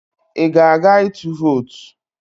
Ị ga-aga ịtụ vootu?